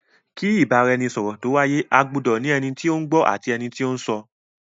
Kí Ìbáraẹnisọ̀rọ̀ tó wáyé, a gbudọ ní ẹni tí ó ń gbọ́ àti ẹni tí ó ń sọ.